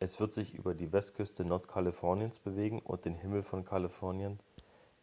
es wird sich über die westküste nordkaliforniens bewegen und den himmel von kalifornien